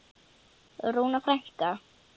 Rúna frænka.